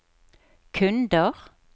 kunder